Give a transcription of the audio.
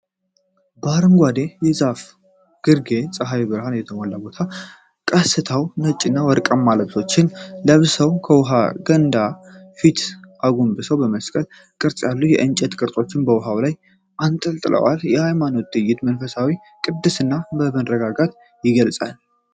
በአረንጓዴ የዛፍ ግርጌና በፀሐይ ብርሃን በተሞላ ቦታ፣ ቀሳውስት ነጭና ወርቃማ ልብሶችን ለብሰው ከውሃ ገንዳ ፊት አጎንብሰው በመስቀል ቅርጽ ያሉ የእንጨት ቅርጾችን በውሃው ላይ አንጠልጥለዋል። ሃይማኖታዊው ትዕይንት መንፈሳዊነትንና ቅድስናን በመረጋጋት ይገልጻል።